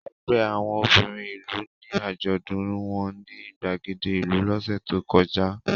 Ẹgbẹ́ àwọn obìnrin ìlú ní àjọ̀dún wọn ní ìgbàgede ìlú lọ́sẹ̀ tó kọjá.